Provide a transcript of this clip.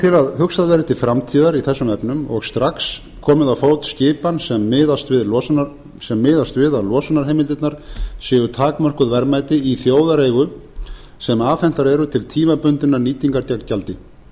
að hugsað verði til framtíðar í þessum efnum og strax komið á fót skipan sem miðast við að losunarheimildirnar séu takmörkuð verðmæti í þjóðareigu sem afhentar eru til tímabundinnar nýtingar gegn gjaldi